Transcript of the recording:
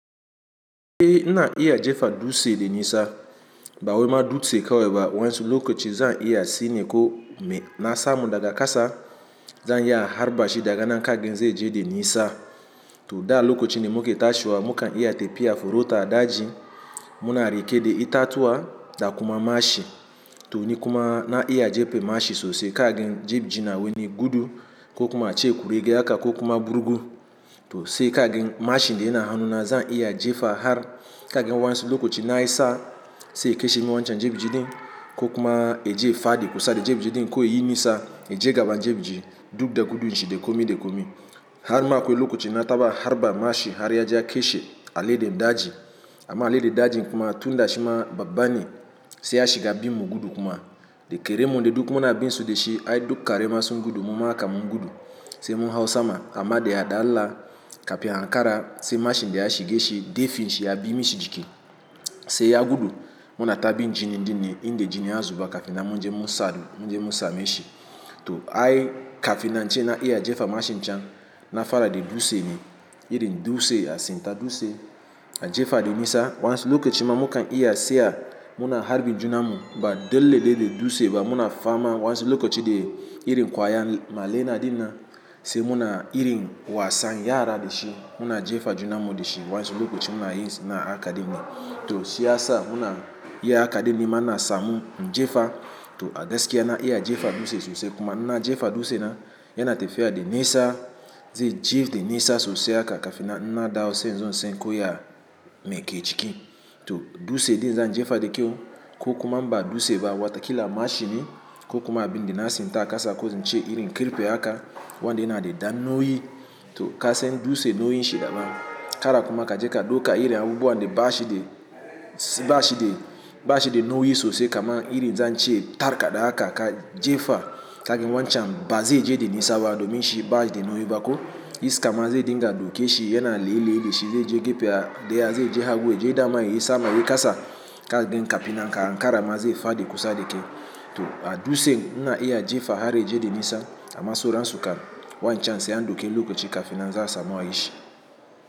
E, ina iya jefa dutse da nisa ba wai ma dutse kawai ba, waƴansu lokoci zan iya si ne ko me. Na samu daga kasa. Zan iya harba shi daga nan kan ɗin zai je da nisa. To da lokocin da muke tashiwa mukan iya tefiya forota daji muna riƙe de itatuwa da kuma mashi. To ni kuma na iya jefe mashi sosai ka gani jefe na wani gudu ko kuma a ce kurege haka ko kuma burugu. To sai ka gani mashin da ina hannu na zan iya jefa har ka gan waƴansu lokoci nayi sa'a sai ya keshe min wancan jebji ɗin ko kuma ya je ya faɗi kusa da jebji ɗin ko yayi nisa ya je gaban jebji, duk da gudun shi de komi de komi. Har ma akwai lokoci na taɓa harba mashi har ya je ya kashe aladen daji. Amma aladen dajin kuma tun da shi ma babba ne sai ya shiga bin mu gudu kuma. Da karen mu de duk mua bin su de shi ai duk kare ma sun gudu mu ma kam mun gudu, sai mun hau sama amma de ya da Allah kafin ya ankara sai mashin da ya shige shi defin shi ya bi mishi jiki. Sai ya gudu muna ta bin jini ɗin ne inda jini ya zuba kafin nan mun je mu sadu, mun je mun sameshi. To ai kafin na ce na iya jefa mashin can na fara de dutse ne, irin dutse a tsinta dutse a jefa da nisa, waƴannsu lokaci ma mukan iya seya muna harbin junan mu ba dole de de dutse ba muna fama wansu lokaci de irin kwaya ma lena dinnan. Sai muna irin wasan yara de shi muna jefa junan mu de shi waƴansu lokaci muna yin sana'a haka ɗin ne. To shi ya sa muna iya haka ɗin nima na samu in jefa. To a gaskiya na iya jefa dutse sosai kuma, in na jefa dutse na yana tafiya de nisa zai je de nisa sosai haka kafinnan in na dawo sai in zo in san ko ya meke ciki. To dutse ɗin zan jefa de kyau, ko kuma in ba dutse ba, wata kila mashi ne ko kuma abin da na tsinta kasa ko im ce irin karfe haka. Wanda yana de dan nauyi. To ka san dutse nauyin shi daban. Kara kuma ka je ka ɗuka irin abubuwa de bashi de bashi de bashi de nauyi sosai kaman irin zance tarka da haka ka jefa. Ka ga wancan ba zai je de nisa ba domin shi bashi de nauyi ba ko. Iska ma zai dinga daukeshi yana leyi leyi dashi, zai je gafe a de a zai je hagu je dama yi sama yi kasa. Tile ɗin kafina ka ankara ma zai faɗi kusa de kai. To a dutse ina iya jefa har ya je de nisa amma sauran su kan waƴancan sai an ɗauke lokaci kafina zan samu a ishi.